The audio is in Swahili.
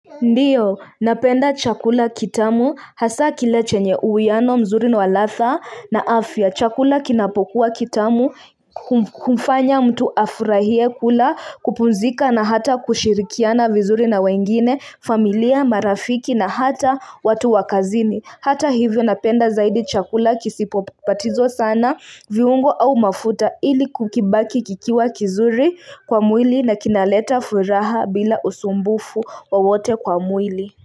Ndiyo, napenda chakula kitamu hasa kila chenye uwiano mzuri wa ladha na afya. Chakula kinapokuwa kitamu humfanya mtu afurahie kula kupumzika na hata kushirikiana vizuri na wengine, familia, marafiki na hata watu wa kazini. Hata hivyo napenda zaidi chakula kisipopatizo sana viungo au mafuta ili kukibaki kikiwa kizuri kwa mwili na kinaleta furaha bila usumbufu wowote kwa mwili.